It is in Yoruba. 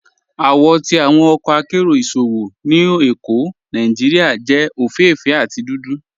Awọ ti awọn ọkọ àkéró ìṣòwò ni Ékó Nàìjíríà jẹ ofééféè àti dúdú.